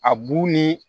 A bu ni